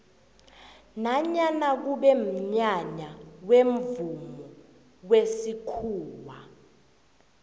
nanyana kube mnyanya wemvumo wesikhuwa